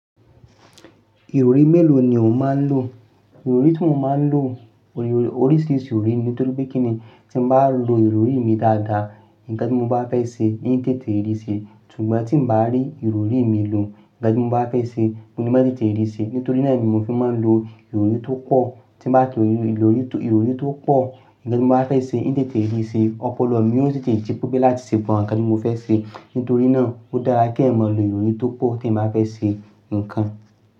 Ìrọrí mélòó ni o máa ń lò? Ìrọrí tí mo máa ń lò, oríṣiríṣi ìrọrí nítorí pé kíni tí mo bá lo ìrọrí mi dáadáa, nǹkan tí mo bá fẹ́ ṣe eim tètè rí síi. Ṣùgbọ́n tí mi bá rí ìrọrí mi lò, nǹkan tí mo bá fẹ́ ṣe mò le má tètè rí síi. Nítorí náà ni mo fi máa ń lo ìrọrí tó pọ̀, tímbá lo ìrọrí tó pọ̀, nǹkan tí mo bá fẹ́ ṣe ein tètè rí se. Ọpọlọ mí ò tètè jí pẹ́ pe láti ṣe nǹkan tí mo fẹ́ ṣe, nítorí náà ó dára kí ẹ̀yan mọ lo ìrọrí tó pọ̀ tí ẹ̀yan bá fẹ́ ṣe nǹkan.